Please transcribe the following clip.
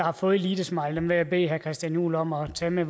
har fået elitesmileyen vil jeg bede herre christian juhl om at tage med